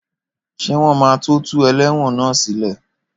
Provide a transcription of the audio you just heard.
Ṣé wọ́n máa tó tú ẹlẹ́wọ̀n náà sí lé?